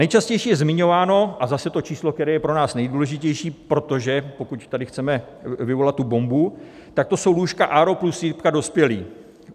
Nejčastěji je zmiňováno - a zase to číslo, které je pro nás nejdůležitější, protože pokud tady chceme vyvolat tu bombu, tak to jsou lůžka ARO plus jipka dospělí.